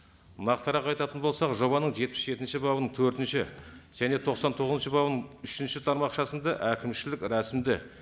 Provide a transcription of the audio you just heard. нақытырақ айтатын болсақ жобаның жетпіс жетінші бабының төртінші және тоқсан тоғызыншы бабының үшінші тармақшасында әкімшілік рәсімді